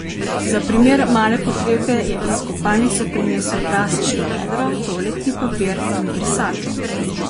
Za primer male potrebe je iz kopalnice prinesel plastično vedro, toaletni papir in brisačo.